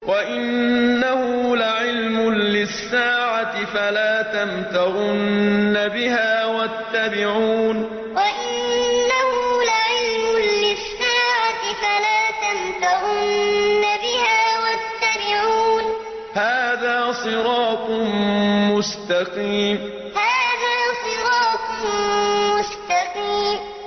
وَإِنَّهُ لَعِلْمٌ لِّلسَّاعَةِ فَلَا تَمْتَرُنَّ بِهَا وَاتَّبِعُونِ ۚ هَٰذَا صِرَاطٌ مُّسْتَقِيمٌ وَإِنَّهُ لَعِلْمٌ لِّلسَّاعَةِ فَلَا تَمْتَرُنَّ بِهَا وَاتَّبِعُونِ ۚ هَٰذَا صِرَاطٌ مُّسْتَقِيمٌ